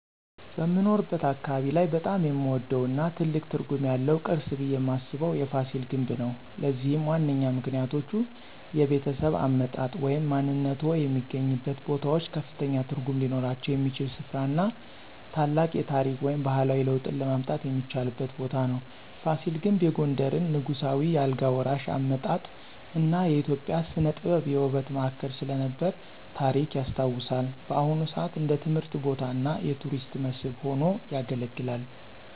በምኖርበት አካባቢ ላይ በጣም የምወደው እና ትልቅ ትርጉም ያለው ቅርስ ብየ ማስበው የፋሲል ግንብ ነው። ለዚህም ዋነኛ ምክንያቶች -የቤተሰብ አመጣጥ ወይም ማንነትዎ የሚገናኙበት ቦታዎች ከፍተኛ ትርጉም ሊኖራቸው የሚችል ሥፍራ እና ታላቅ የታሪክ ወይም ባህላዊ ለውጥን ለማየት የሚቻልበት ቦታ ነው። ፋሲል ግንብ የጎንደርን ንጉሳዊ የአልጋ ወራሽ አመጣጥ እና የኢትዮጵያ ሥነ-ጥበብ የውበት ማዕከል ስለነበረ ታሪክ ያስታውሳል። በአሁን ሰአት እንደ ትምህርት ቦታ እና የቱሪስት መስህብ ሆኖ ያገለግላል።